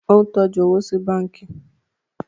o ń tọjú owo sí bánkì